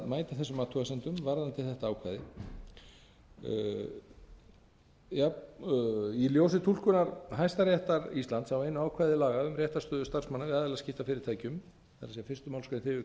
ætlað að mæta þessum athugasemdum varðandi þetta ákvæði í ljósi túlkunar hæstaréttar íslands á einu ákvæði laga um réttarstöðu starfsmanna við aðilaskipti að fyrirtækjum það er fyrsta málsgrein þriðju